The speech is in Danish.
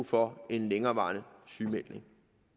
få en længerevarende sygemelding